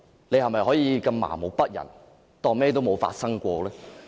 你是否可以如此麻木不仁，當甚麼都沒有發生呢？